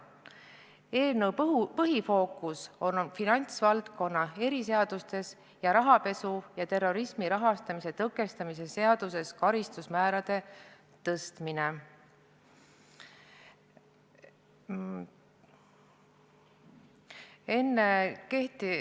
Eelnõu põhifookus on finantsvaldkonna eriseadustes ning rahapesu ja terrorismi rahastamise tõkestamise seaduses karistusmäärade tõstmisel.